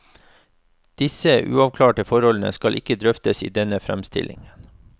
Disse uavklarte forholdene skal ikke drøftes i denne framstillingen.